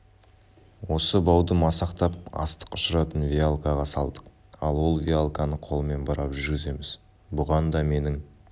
осы бауды масақтап астық ұшыратын веялкаға салдық ал ол веялканы қолмен бұрап жүргіземіз бұған да менің